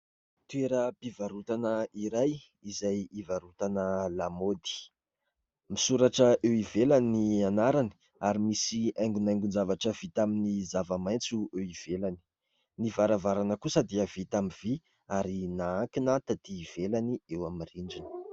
Toeram-pivarotana iray izay ivarotana lamaody. Misoratra eo ivelany ny anarany ary misy haingonaingon-javatra vita amin'ny zava-maitso eo ivelany. Ny varavarana kosa dia vita amin'ny vy ary nahankina tatỳ ivelany eo amin'ny rindrina.